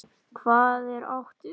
Hvað er átt við?